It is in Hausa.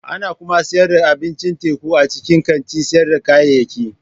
Ana kuma sayar da abincin teku a cikin kantin sayar da kayayyaki.